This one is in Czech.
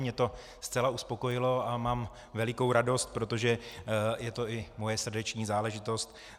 Mě to zcela uspokojilo a mám velikou radost, protože je to i moje srdeční záležitost.